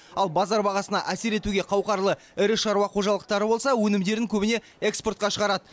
ал базар бағасына әсер етуге қауқарлы ірі шаруа қожалықтары болса өнімдерін көбіне экспортқа шығарады